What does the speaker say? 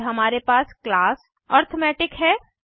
फिर हमारे पास क्लास अरिथमेटिक है